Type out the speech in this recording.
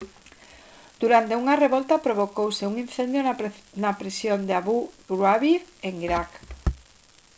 durante unha revolta provocouse un incendio na prisión de abu ghraib en iraq